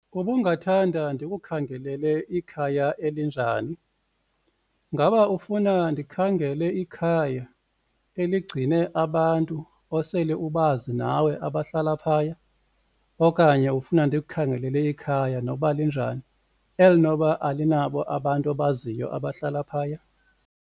Ubungathanda ndikukhangelele ikhaya elinjani? Ngaba ufuna ndikhangele ikhaya eligcine abantu osele ubazi nawe abahlala phaya okanye ufuna ndikukhangelele ikhaya nokuba linjani elinokuba alinabo abantu obaziyo abahlala phaya?.